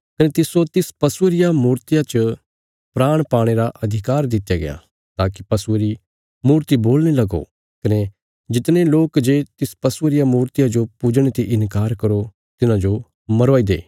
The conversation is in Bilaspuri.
कने तिस्सो तिस पशुये रिया मूर्तिया च प्राण पाणे रा अधिकार दित्या गया ताकि पशुये री मूर्ति बोलणे लगो कने जितने लोक जे तिस पशुये रिया मूर्तिया जो पूजणे ते इन्कार करो तिन्हांजो मरवाई दे